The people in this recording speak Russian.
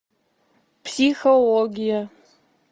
психология